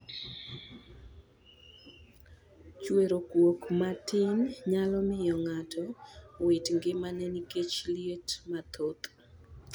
Chwero kuok matin nyalo miyo ng'ato wit ngimane nikech liet mathoth.